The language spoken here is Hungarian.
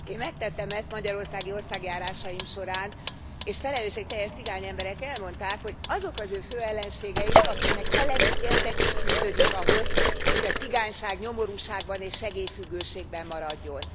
Én megtettem ezt magyarországi országjárásaim során, és felelősségteljes cigányemberek elmondták, hogy azok az ő fő ellenségeik, akiknek elemi érdekük fűződik ahhoz, hogy a cigányság nyomorúságban és segélyfüggőségben maradjon.